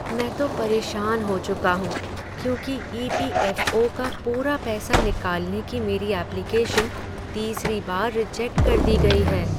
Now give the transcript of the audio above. मैं तो परेशान हो चुका हूँ क्योंकि ई. पी. एफ. ओ. का पूरा पैसा निकालने की मेरी ऐप्लिकेशन तीसरी बार रिजेक्ट कर दी गई है।